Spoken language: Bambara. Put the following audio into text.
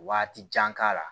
Waati jan k'a la